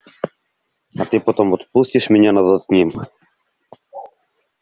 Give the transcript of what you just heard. а ты потом отпустишь меня назад к ним